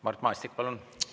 Mart Maastik, palun!